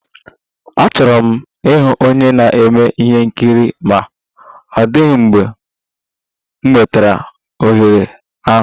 Achọrọ m ịghọ onye na-eme ihe nkiri ma ọ dịghị mgbe m nwetara ohere ahụ